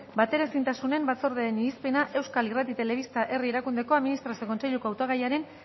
bateraezintasunen batzordearen irizpena euskal irrati telebista herri erakundeko administrazio kontseiluko hautagaiaren